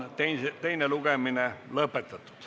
Teine lugemine on lõppenud.